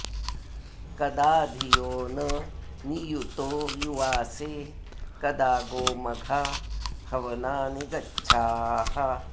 कदा धियो न नियुतो युवासे कदा गोमघा हवनानि गच्छाः